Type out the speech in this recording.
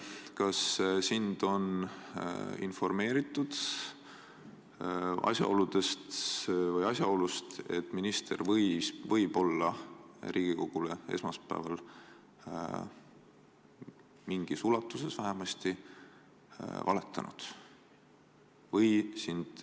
Kas sind on informeeritud asjaolust, et minister võis Riigikogule esmaspäeval – mingis osas vähemasti – valetada?